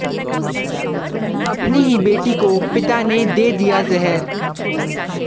अपनी ही बेटी को पिता ने दे दिया जहर